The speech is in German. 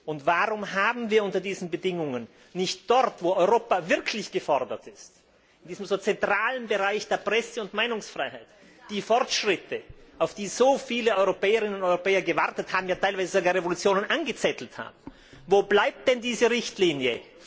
Und warum haben wir unter diesen Bedingungen nicht dort, wo Europa wirklich gefordert ist, in diesem so zentralen Bereich der Presse und Meinungsfreiheit, die Fortschritte, auf die so viele Europäerinnen und Europäer gewartet haben, für die sie ja teilweise sogar Revolutionen angezettelt haben? Wo bleibt denn diese Richtlinie?